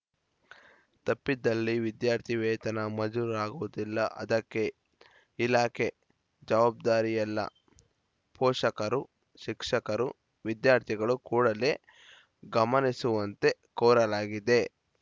ತಪ್ಪಿದ್ದಲ್ಲಿ ವಿದ್ಯಾರ್ಥಿ ವೇತನ ಮಜೂರಾಗುವುದಿಲ್ಲ ಅದಕ್ಕೆ ಇಲಾಖೆ ಜವಾಬ್ದಾರಿಯಲ್ಲ ಪೋಷಕರು ಶಿಕ್ಷಕರು ವಿದ್ಯಾರ್ಥಿಗಳು ಕೂಡಲೆ ಗಮನಿಸುವಂತೆ ಕೋರಲಾಗಿದೆ